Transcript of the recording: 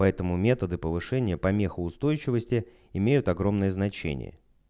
поэтому методы повышения помехоустойчивости имеют огромное значение